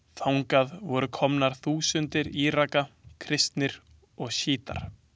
Þangað voru komnar þúsundir Íraka, kristnir og sjítar.